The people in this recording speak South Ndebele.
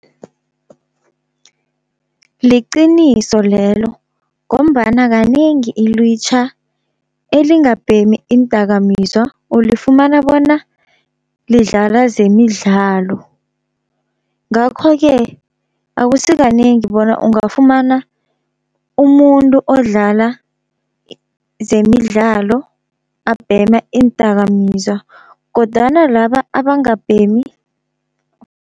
Liqiniso lelo, ngombana kanengi ilwitjha elingabhemi iindakamizwa ulifumana bona lidlala zemidlalo. Ngakho-ke akusi kanengi bona ungafumana umuntu odlala zemidlalo abhema iindakamizwa kodwana laba abangabhemi.